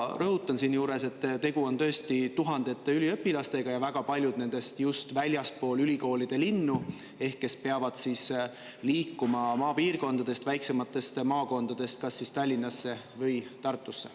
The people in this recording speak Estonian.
Ja rõhutan siinjuures, et tegu on tõesti tuhandete üliõpilastega ja väga paljud nendest just väljastpoolt ülikoolide linnu, ehk kes peavad liikuma maapiirkondadest, väiksematest maakondadest kas Tallinnasse või Tartusse.